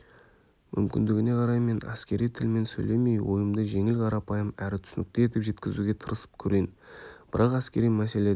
мүмкіндігіне қарай мен әскери тілмен сөйлемей ойымды жеңіл қарапайым әрі түсінікті етіп жеткізуге тырысып көрейін бірақ әскери мәселеде